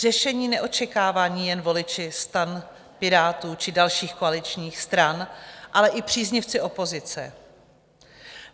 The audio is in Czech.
Řešení neočekávají jen voliči STAN, Pirátů či dalších koaličních stran, ale i příznivci opozice.